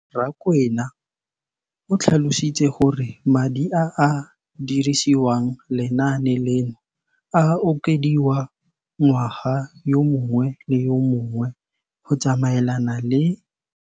Rakwena o tlhalositse gore madi a a dirisediwang lenaane leno a okediwa ngwaga yo mongwe le yo mongwe go tsamaelana le